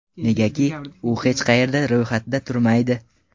Negaki, u hech qayerda ro‘yxatda turmaydi.